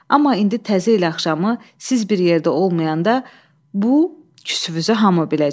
Amma indi təzə il axşamı siz bir yerdə olmayanda bu küsünüzü hamı biləcək.